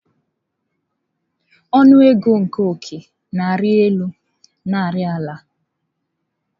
Ọnụ ego nke ọ́kẹ́ na-arị elu na ari ala.